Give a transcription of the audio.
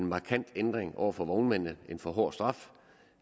markant ændring over for vognmændene en for hård straf